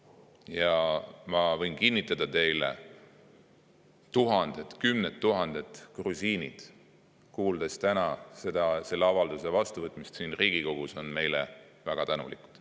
Ja ma võin kinnitada teile, et tuhanded, kümned tuhanded grusiinid, kuuldes täna selle avalduse vastuvõtmisest siin Riigikogus, on meile väga tänulikud.